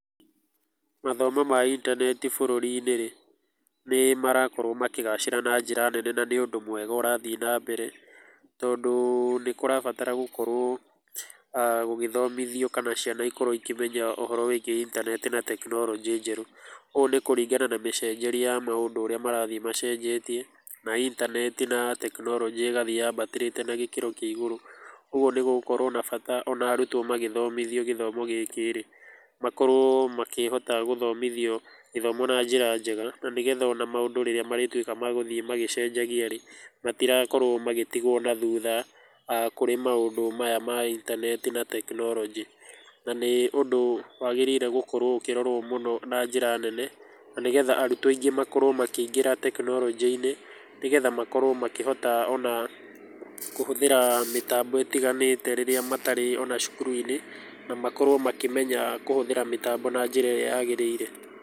Mathomo ma intaneti bũrũrinĩ rĩ, nĩmarakorwo makĩgacĩra na njĩra nene na nĩũndũ mwega ũrathiĩ na mbere, tondũ nĩkũrabatara gũkorwo[uhh] gũgĩthomithio kana ciana ikorwe ikĩmenya ũhoro wĩgiĩ intaneti na tekinoronjĩ njerũ, ũũ nĩkũringana na mĩcenjerie ya maũndũ ũrĩa marathii macenjetie na intaneti na tekinoronjĩ ĩgathii yabatĩrĩte na gĩkĩro kĩagũrũ, kwoguo nĩgũgũkorwo na bata na arutwo magĩthomithio gĩthomo gĩkĩ rĩ, makorwo makĩhota gwĩthomithio ithomo naa njĩra njega nĩgetha ona maũndũ rĩrĩa marĩtuĩka magũthiĩ magĩcenjagia rĩ matirakorwo magĩcenjia na thutha kũrĩ maũndũ maya ma intabeti na tekinorojĩ na nĩũndũ wagĩrĩirwe ũkirorwo mũno na njĩra nene na nĩguo arutwo aingĩ makorwo makĩingĩtra tekinoronjĩinĩ nĩgethe makorwo makĩhota ona kũhuthĩra mĩtambo ĩtiganĩte rĩrĩa matarĩ ona cukuruinĩ ,makorwo makĩmenya mĩtambo na njĩra ĩrĩa yagĩrĩire.